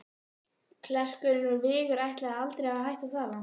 Klerkurinn úr Vigur ætlaði aldrei að hætta að tala.